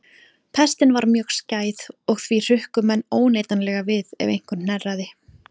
Pestin var mjög skæð og því hrukku menn óneitanlega við ef einhver hnerraði.